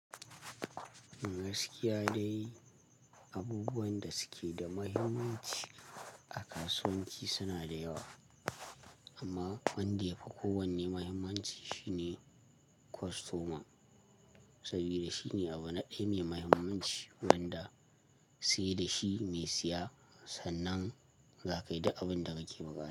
Gaskiya dai, abubuwan da suke da muhimmanci a kasuwanci suna da yawa, amma wanda ya fi kowanne muhimmanci shine kostoma. Saboda shine abu na ɗaya mai muhimmanci wanda sai da shi mai siya sannan za kai duk abin da kake buƙata.